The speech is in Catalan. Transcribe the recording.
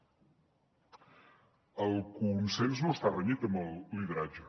el consens no està renyit amb el lideratge